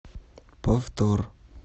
повтор